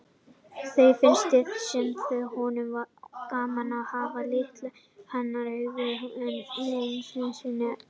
Þó finnst honum gaman að hafa litið hana augum einu sinni enn.